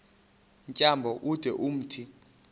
tyambo ude umthi